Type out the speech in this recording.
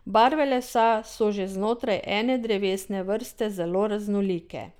Barve lesa so že znotraj ene drevesne vrste zelo raznolike.